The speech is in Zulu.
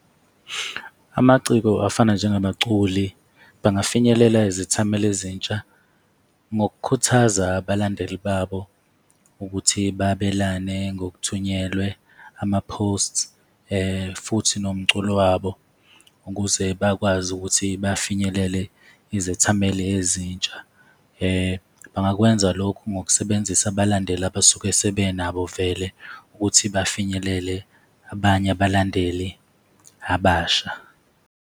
Amaciko afana njengabaculi bangafinyelela izithameli ezintsha ngokukhuthaza abalandeli babo ukuthi babelane ngokuthunyelwe ama-posts futhi nomculo wabo ukuze bakwazi ukuthi bafinyelele izethameli ezintsha. Bangakwenza lokho ngokusebenzisa abalandeli abasuke sebenabo vele ukuthi bafinyelele abanye abalandeli abasha.